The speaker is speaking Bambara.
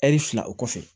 Ɛri fila o kɔfɛ